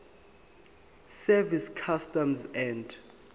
service customs and